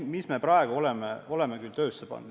Aga ühe asja oleme juba töösse pannud.